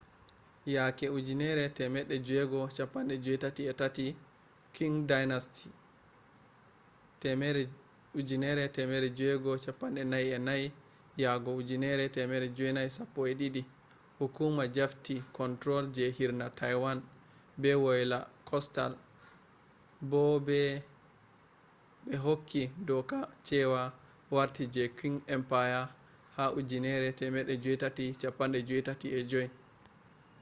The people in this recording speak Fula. yake 1683,qing dynasty 1644-1912 hukuma jafti control je hirna taiwan be wayla coastal bo ɓe hokki doka cewa warti je qing empire ha 1885